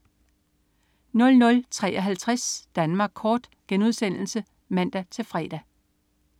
00.53 Danmark kort* (man-fre)